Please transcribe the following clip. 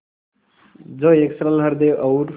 जो एक सरल हृदय और